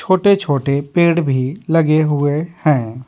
छोटे-छोटे पेड़ भी लगे हुए हैं।